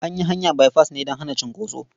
An yi hanya baifas ne don hana cunkoso.